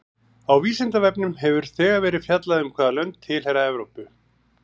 Á Vísindavefnum hefur þegar verið fjallað um hvaða lönd tilheyra Evrópu.